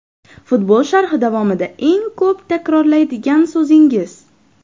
Futbol sharhi davomida eng ko‘p takrorlaydigan so‘zingiz?